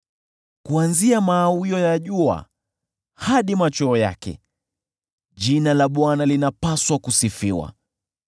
Kuanzia mawio ya jua hadi machweo yake, jina la Bwana linapaswa kusifiwa.